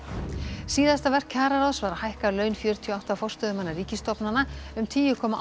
síðasta verk kjararáðs var að hækka laun fjörutíu og átta forstöðumanna ríkisstofnana um tíu komma átta